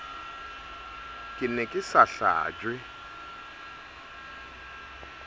ke ne ke sa hlajwe